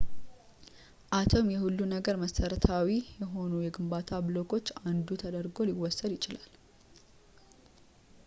አቶም የሁሉም ነገር መሠረታዊ የሆኑ የግንባታ ብሎኮች አንዱ ተደርጎ ሊወሰድ ይችላል